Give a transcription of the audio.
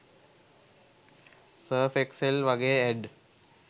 surf Excel වගෙ add